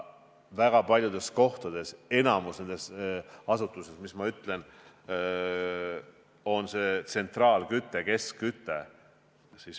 Väga paljudes kohtades, ka enamikus kõnealustes asutuses on tsentraalküte, keskküte.